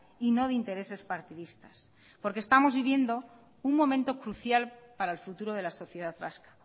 y no de intereses partidistas porque estamos viviendo un momento crucial para el futuro de la sociedad vasca